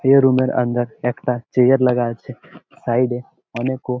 এ room -এর অন্দর একটা চেয়ার লাগা আছে সাইড এ অনেকও--